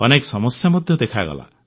ଅନେକ ସମସ୍ୟା ମଧ୍ୟ ଦେଖାଦେଲା